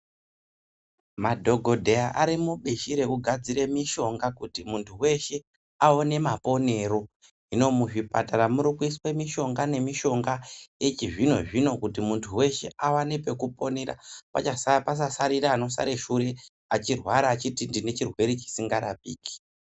Madhokodheya Ari mubishi rekugadzira mishonga kuti muntu weshe Akone maponero hino muzvipatara store mishonga yechizvino zvino kuti muntu aone pekuponera pasarira anoshata Shure achirwara pasingarapiki.